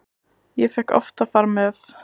Ég fékk oft að fara með.